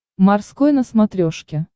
морской на смотрешке